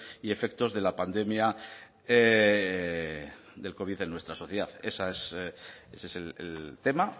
y efectos de la pandemia del covid en nuestra sociedad ese es el tema